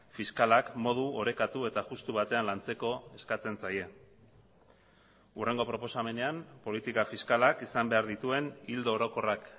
fiskalak modu orekatu eta justu batean lantzeko eskatzen zaie hurrengo proposamenean politika fiskalak izan behar dituen ildo orokorrak